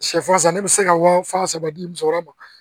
Sɛfan san ne bɛ se ka wa fila saba di musokɔrɔba ma